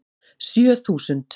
Sjö þúsund